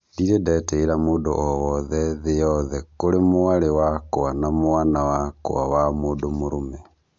Ndirĩ ndetĩĩra mũndũ o wothe thĩ yothe kũrĩ mwarĩ wakwa na mwana wakwa wa mũndũ mũrũme